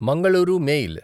Mangaluru mail